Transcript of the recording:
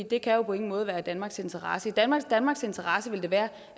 det kan jo på ingen måde være i danmarks interesse danmarks interesse vil være